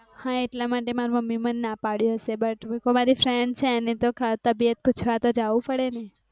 એટલા માટે મમ્મી મને ના પાળે હસે but મારી friend છે એની તો તબિયત પૂછવા તો જાઉં પડે ને?